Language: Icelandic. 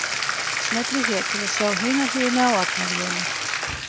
Smellið hér til að sjá hina hliðina á Arnari Jóni